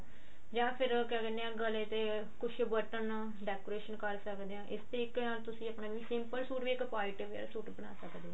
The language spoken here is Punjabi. ਜਾਂ ਫਿਰ ਕਿਆ ਕਹਿੰਦੇ ਆ ਗਲੇ ਤੇ ਕੁੱਝ ਬਟਨ decoration ਕਰ ਸਕਦੇ ਹਾਂ ਇਸ ਤੇ ਇੱਕ ਤੁਸੀਂ ਵੀ ਆਪਣਾ simple ਸੂਟ ਵੀ ਇੱਕ party wear ਸੂਟ ਬਣਾ ਸਕਦੇ ਹੋ